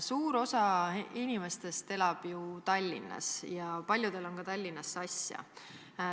Suur osa inimesi elab Tallinnas ja paljudel on ka Tallinnasse asja.